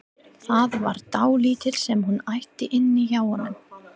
Það var dálítið sem hún átti inni hjá honum.